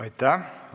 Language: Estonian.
Aitäh!